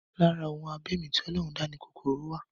Lára ohun abẹ̀mí tí Ọlọ́run dá ni kòkòrò wà